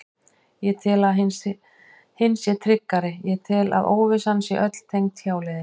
Ég tel að hin sé tryggari, ég tel að óvissan sé öll tengd hjáleiðinni.